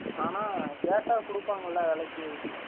ஆனா கேட்டா கூடுப்பாங்கல வேலைக்கு